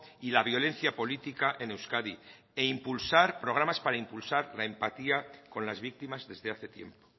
y la violencia política en euskadi y programas para impulsar la empatía con las víctimas desde hace tiempo